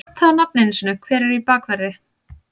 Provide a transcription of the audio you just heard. Ég get ekki nefnt það á nafn einu sinni, hver er í bakverði?